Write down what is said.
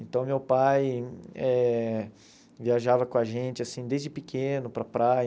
Então, meu pai eh viajava com a gente, assim, desde pequeno para a praia.